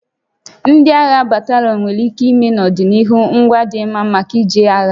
Ndị agha batalịọnụ nwere ike ime n'ọdịnihu ngwa dị mma maka ije agha